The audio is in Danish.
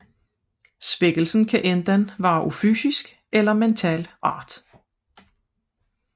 Svækkelsen kan enten være af fysisk eller mental art